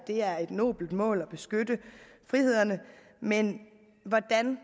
det er et nobelt mål at beskytte frihederne men hvordan